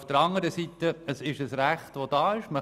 Auf der anderen Seite ist es ein Recht, das besteht;